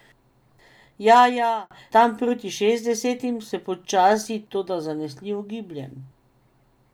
Ja, ja, tam proti šestdesetim se počasi, toda zanesljivo gibljem.